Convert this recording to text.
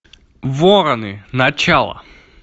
вороны начало